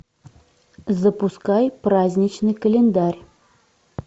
запускай праздничный календарь